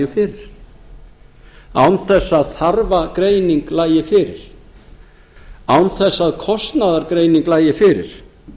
fyrir án þess að þarfagreining lægi fyrir án þess að kostnaðargreining lægi fyrir